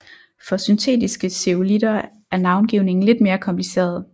For syntetiske zeolitter er navngivningen lidt mere kompliceret